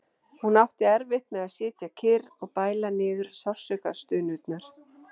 Hún átti erfitt með að sitja kyrr og bæla niður sársaukastunurnar.